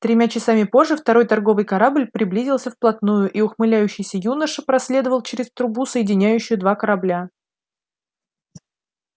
тремя часами позже второй торговый корабль приблизился вплотную и ухмыляющийся юноша проследовал через трубу соединяющую два корабля